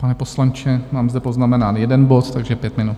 Pane poslanče, mám zde poznamenán jeden bod, takže pět minut.